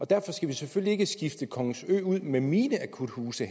derfor skal vi selvfølgelig ikke skifte kongens ø ud med mine akuthuse